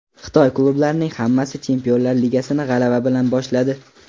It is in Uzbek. Xitoy klublarining hammasi Chempionlar ligasini g‘alaba bilan boshladi.